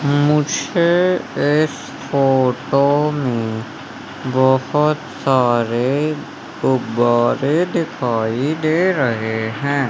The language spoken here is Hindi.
मुझे इस फोटो में बहोत सारे गुब्बारे दिखाई दे रहे हैं।